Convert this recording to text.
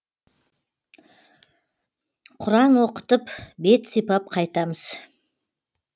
құран оқытып бет сипап қайтамыз